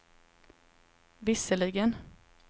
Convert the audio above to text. visserligen